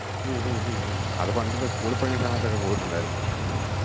ഹും ഹും ഹും ഹും അത് പണ്ടില്ല school ഇൽ പഠിക്കുന്ന സമയത്തൊക്കെ പോയിട്ടുണ്ടായിരുന്നു.